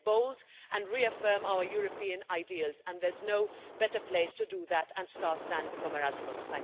Let's be bold and reaffirm our European ideas and there's no better place to do that and start than from Erasmus.